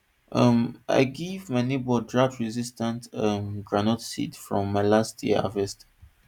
um i give my neighbor droughtresistant um groundnut seeds from my last year harvest